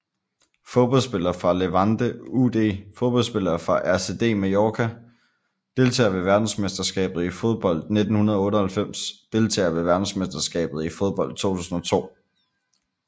Fodboldspillere fra Levante UD Fodboldspillere fra RCD Mallorca Deltagere ved verdensmesterskabet i fodbold 1998 Deltagere ved verdensmesterskabet i fodbold 2002